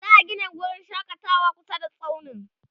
za'a Gina wurin shakatawa kusa da tsaunin